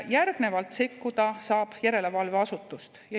Järgnevalt saab sekkuda järelevalveasutus.